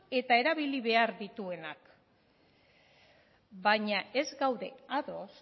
eta erabili behar dituenak baina ez gaude ados